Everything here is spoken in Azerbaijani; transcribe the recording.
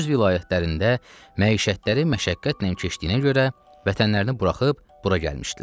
Öz vilayətlərində məişətləri məşəqqətlə keçdiyinə görə vətənlərini buraxıb bura gəlmişdilər.